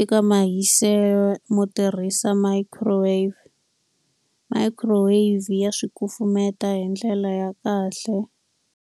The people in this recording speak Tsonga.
eka mahiselo mo tirhisa microwave. Microwave ya swi kufumeta hi ndlela ya kahle.